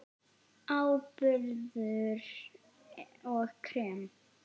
Áburður og krem